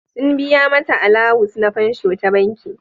Sun biya mata alawus ns fansho ta banki.